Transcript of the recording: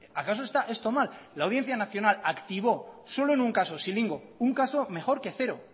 acaso está esto mal la audiencia nacional activó solo en un caso scilingo un caso mejor que cero